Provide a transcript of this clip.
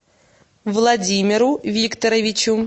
владимиру викторовичу